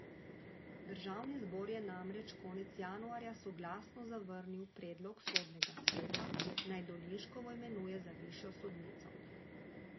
Državni zbor je namreč konec januarja soglasno zavrnil predlog sodnega sveta, naj Dolinškovo imenuje za višjo sodnico.